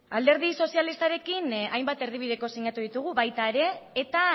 alderdi sozialistarekin hainbat erdibideko sinatu ditugu baita ere eta